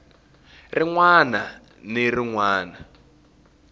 rin wana ni rin wana